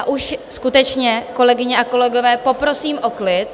A už skutečně, kolegyně a kolegové, poprosím o klid.